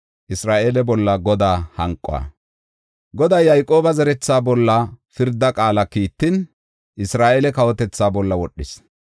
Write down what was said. Goday Yayqooba zeretha bolla pirda qaala kiittin, Isra7eele kawotethaa bolla wodhis.